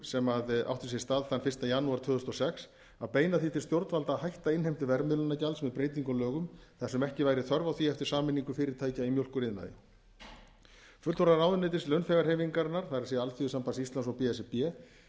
sem átti sér stað þann fyrsta janúar tvö þúsund og sex að beina því til stjórnvalda að hætta innheimtu verðmiðlunargjalds með breytingu á lögum þar sem ekki væri þörf á því eftir sameiningu fyrirtækja í mjólkuriðnaði fulltrúar ráðuneytis launþegahreyfingarinnar það er alþýðusambands íslands og b s r b